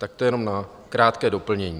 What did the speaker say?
Tak to jenom na krátké doplnění.